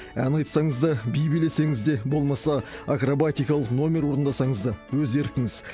ән айтсаңыз да би билесеңіз де болмаса акробатикалық номер орындасаңыз да өз еркіңіз